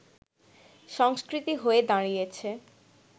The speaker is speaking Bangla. সংস্কৃতি হয়ে দাঁড়িয়েছে